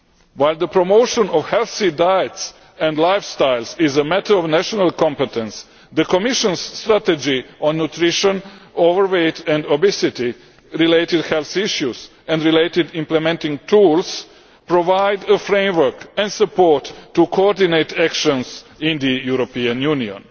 While the promotion of healthy diets and lifestyles is a matter of national competence, the Commission's strategy on nutrition, overweight and obesity related health issues and related implementing tools provide a framework and support to coordinate actions in the European Union.